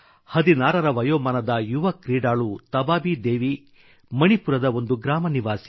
16 ರ ವಯೋಮಾನದ ಯುವ ಕ್ರೀಡಾಳು ತಬಾಬಿ ದೇವಿ ಮಣಿಪುರದ ಒಂದು ಗ್ರಾಮ ನಿವಾಸಿ